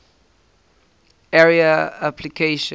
area network applications